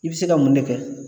I bɛ se ka mun de kɛ